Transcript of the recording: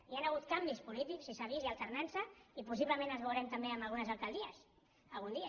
hi han hagut canvis polítics i s’ha vist hi ha alternança i possiblement la veurem també en algunes alcaldies algun dia